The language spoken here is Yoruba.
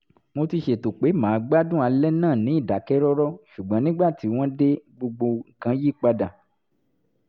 mo ti ṣètò pé màá gbádùn alẹ́ náà ní ìdákẹ́rọ́rọ́ ṣùgbọ́n nígbà tí wọ́n dé gbogbo nǹkan yí padà